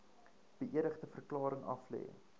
beëdigde verklaring aflê